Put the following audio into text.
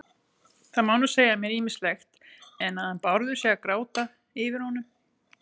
Það má nú segja mér ýmislegt, en að hann Bárður sé að gráta yfir honum